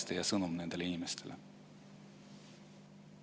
Mis on teie sõnum nendele inimestele?